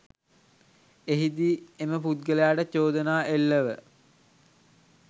එහිදී එම පුද්ගලයාට චෝදනා එල්ලව